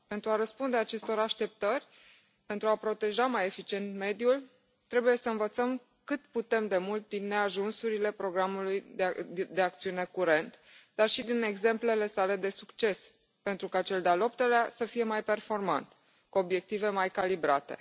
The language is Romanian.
Pentru a răspunde acestor așteptări, pentru a proteja mai eficient mediul, trebuie să învățăm cât putem de mult din neajunsurile programului de acțiune curent, dar și din exemplele sale de succes, pentru ca cel de al optulea program să fie mai performant, cu obiective mai calibrate.